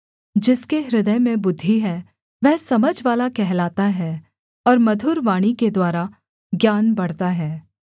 जिसके हृदय में बुद्धि है वह समझवाला कहलाता है और मधुर वाणी के द्वारा ज्ञान बढ़ता है